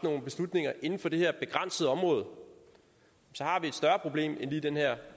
nogle beslutninger inden for det her begrænsede område så har vi et større problem end lige den her